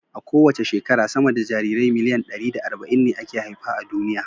A kowace shekara, sama da jarirai miliyan ɗari da arba'in ne ake haifa a duniya.